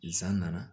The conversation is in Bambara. Zan nana